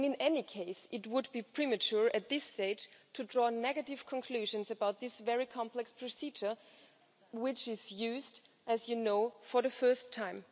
In any case, it would be premature at this stage to draw negative conclusions about this very complex procedure, which is being used, as you know, for the first time.